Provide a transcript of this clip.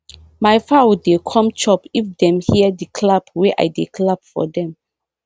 my fowl dey come chop if dem hear the clap wey i dey clap for dem